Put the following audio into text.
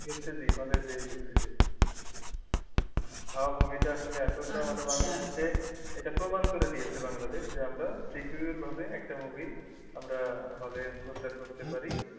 দেখতেছি ওখানে যেয়ে দেখতেছি সব movie তে আসলে এতোটা মানে হচ্ছে এটা প্রমান করে দিয়েছে বাংলাদেশ যে আমরা secure ভাবে একটা movie আমরা hall এ প্রচার করতে পারি